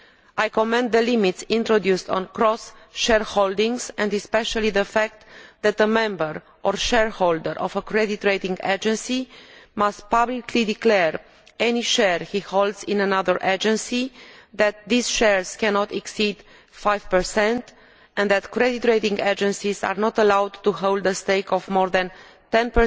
I commend the limits introduced on cross shareholdings and especially the fact that a member or shareholder of a credit rating agency must publicly declare any share he or she holds in another agency, that these shares cannot exceed 5 and that credit rating agencies are not allowed to hold a stake of more than 10